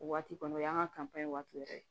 O waati kɔni o y'an ka waati yɛrɛ ye